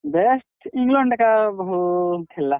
Best England ଏକା ଭଲ୍ ଖେଲ୍ ଲା।